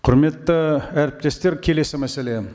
құрметті әріптестер келесі мәселе